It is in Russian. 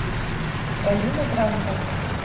галина грантовна